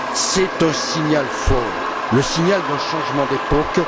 C'est un signal fort, le signal d'un changement d'époque.